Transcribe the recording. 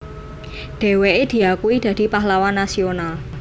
Dheweke diakui dadi Pahlawan Nasional